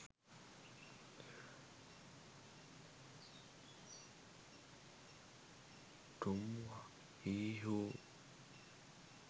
tum hi ho